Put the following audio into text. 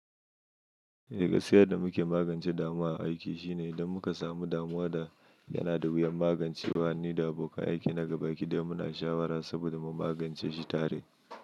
Eh, gaskiya yadda muke magance damuwa a aiki shine idan muka samu damuwa da yana da wuyan magancewa, ni da abokan aiki na gaba kiɗa muna shawara saboda mu magance shi tare.